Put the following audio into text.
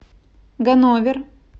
ганновер